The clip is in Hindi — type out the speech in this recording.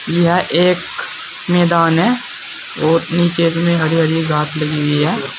यह एक मैदान है और नीचे में हरी हरी घास लगी हुई है।